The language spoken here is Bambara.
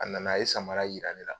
A nana, a ye samara yira ne la